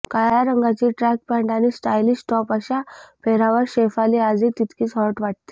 काळ्या रंगाची track pant आणि स्टायलिश टॉप अशा पेहरावात शेफाली आजही तितकीच हॉट वाटते